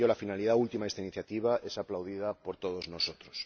Por ello, la finalidad última de esta iniciativa es aplaudida por todos nosotros.